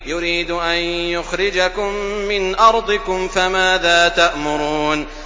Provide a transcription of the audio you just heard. يُرِيدُ أَن يُخْرِجَكُم مِّنْ أَرْضِكُمْ ۖ فَمَاذَا تَأْمُرُونَ